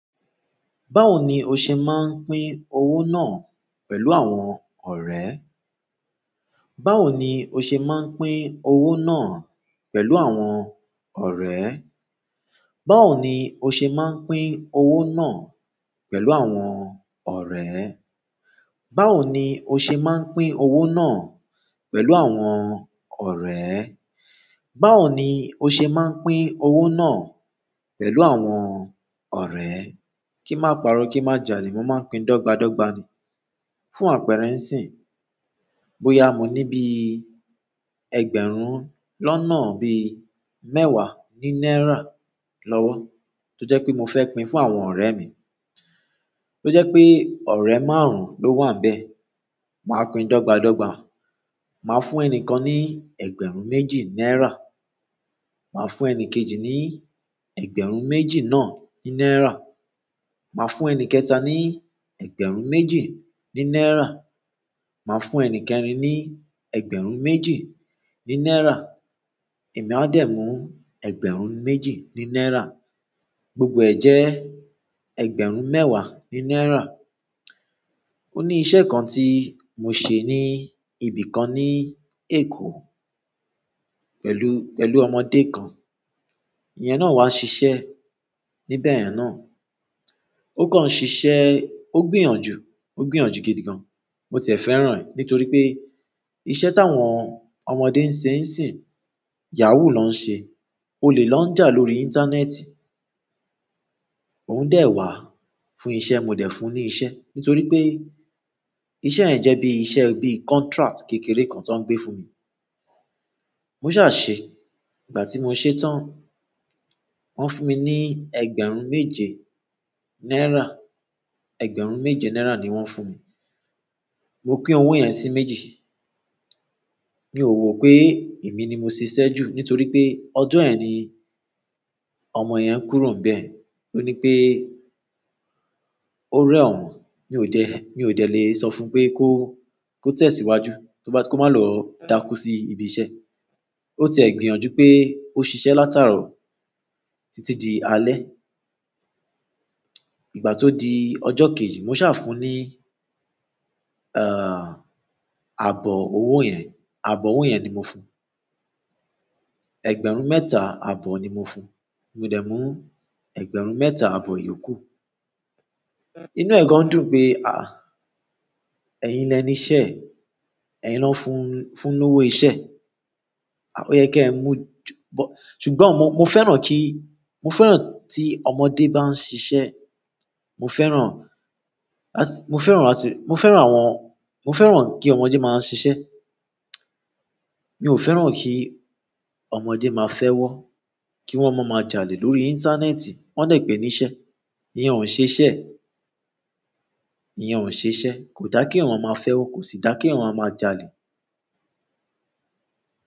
Báwo ni o ṣe máa ń pín owó náà pẹ̀lú àwọn ọ̀rẹ́? Báwo ni o ṣe máa ń pín owó náà pẹ̀lú àwọn ọ̀rẹ́? Báwo ni o ṣe máa ń pín owó náà pẹ̀lú àwọn ọ̀rẹ́? Báwo ni o ṣe máa ń pín owó náà pẹ̀lú àwọn ọ̀rẹ́? Báwo ni o ṣe máa ń pín owó náà pẹ̀lú àwọn ọ̀rẹ́? Kí má parọ́ kí má jalè. Mo máa ń pín dọ́gba dọ́gba ni fún àpérẹ́ ńsìn. Bóyá mo ní bí i ẹgbẹ̀rún lọ́nà bí i mẹ́wàá ní náírà lọ́wọ́ tó jẹ́ pé mo fẹ́ pín fún àwọn ọ̀rẹ́ mi. Tó jẹ́ pé ọ̀rẹ́ márùn-ún ló wà ńbẹ̀. Màá pín dọ́gba dọ́gba. Màá fún ẹni kan ní ẹgbẹ̀rún méjì náírà. Màá fún ẹni kejì ní ẹgbẹ̀rún méjì náà ní náírà. Màá fún ẹnì kẹ̀ta ní ẹgbẹ̀rún méjì ní náírà. Màá fún ẹni kẹrin ní ẹgbẹ̀rún méjì ní náírà. Èmi a dẹ̀ mú ẹgbẹ̀rún méjì ní náírà. Gbogbo ẹ̀ jẹ́ ẹgbẹ̀rún mẹ́wàá ní náírà. Ó ní iṣẹ́ kan tí mo ṣe ní ibì kan ní Èkó pẹ̀lú, pẹ̀lú ọmọdé kan. Ìyẹn náà wá ṣiṣẹ́ níbẹ̀ yẹn náà. Ó kàn ṣiṣẹ́, ó gbìyànjú, ó gbìyànjú gidi gan. Mo tiẹ̀ fẹ́ràn rẹ̀ nítorí pé iṣẹ́ táwọn ọmọdé ń ṣe ẹ̀sìn, yahoo ló ń ṣe. Olè lóń jà lórí íntánẹ́ẹ́tì òún dẹ̀ wá fún iṣẹ́, mo dẹ̀ fún un ní iṣẹ́ nítorí pé iṣẹ́ ẹ̀ jẹ́ bí i iṣẹ́, bí i contract kékeré kan tó ń gbé fún mi. Mo ṣà ṣe. Ìgbà tí mo ṣe tán, wọ́n fún mi ní ẹgbẹ̀rún méje náírà. Ẹgbẹ̀rún méje náírà ni wọ́n fún mi. Mo pín owó yẹn sí méjì. Mi ò wò pé èmi ni mo ṣiṣẹ́ jù nítorí pé ọdún ẹ̀ ni ọmọ yẹn kúrò níbẹ̀. Ó ní pé ó rẹ̀ òun. Mi ò jẹ́, mi ò dẹ̀ le sọ fún pé kó, kó tẹ̀síwájú tó bá ti kó má lọ dákú sí ibi iṣẹ́. Ó tiẹ̀ gbìyànjú pé ó ṣiṣẹ́ látàárọ̀ títí di alẹ́. Ìgbà tó di ọjọ́ kejì, mo ṣà fún un ní, ah, àbọ̀ owó yẹn. Àbọ̀ owó yẹn ni mo fún un. Ẹgbẹ̀rún mẹ́ta àbọ̀ ni mo fún un. Mo dẹ̀ mú ẹgbẹ̀rún mẹ́ta àbọ̀ yòókù. Inú ẹ̀ kan dùn pé, "à, ẹ̀yin lẹni iṣẹ́, ẹ̀yin l'ọ́n fún un, fún un lówó iṣẹ́." Ó yẹ kí ẹ mú ju bọ-- ṣùgbọ́n mo, mo fẹ́ràn kí, mo fẹ́ràn tí ọmọdé bá ń ṣiṣẹ́. Mo fẹ́ràn, mo fẹ́ràn láti, mo fẹ́ràn àwọn, mo fẹ́ràn kí ọmọdé má a ń ṣiṣẹ́. Mi ò fẹ́ràn kí ọmọdé máa fẹ́ wọ́, kí wọ́n má má jalè lórí íńtánẹ́ẹ̀tì. Wọ́n dẹ̀ gbẹ́ níṣẹ́. Ìyẹn ọ̀ ṣiṣẹ́, ìyẹn ọ̀ ṣiṣẹ́. Kò dá kíyàn máa fẹ́ wọ, kò sì dá kíyàn máa jalè.